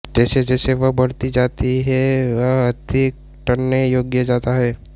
जैसेजैसे यह बढ़ती जाती है वह अधिक ट्टने योग्य जाता है